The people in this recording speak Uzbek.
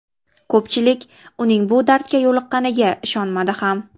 Ko‘pchilik, uning bu dardga yo‘liqqqaniga ishonmadi ham.